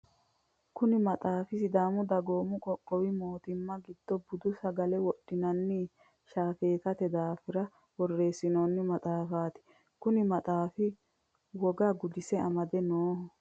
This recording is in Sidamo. Kunni maxaafi sidaamu dagoomu qoqqowi mootimma gido budu sagale wodhinanni shaafeetate daafira boreesinoonni maxaafaati konni maxaafi wogga gudise amade Nooho.